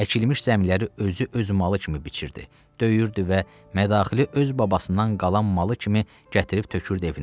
Əkilmiş zəmiləri özü öz malı kimi biçirdi, döyürdü və mədaxili öz babasından qalan malı kimi gətirib tökürdü evinə.